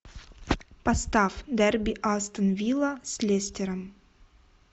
поставь дерби астон вилла с лестером